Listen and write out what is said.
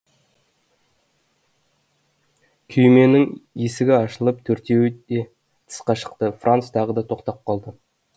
күйменің есігі ашылып төртеуі де тысқа шықты франц тағы тоқтап қалды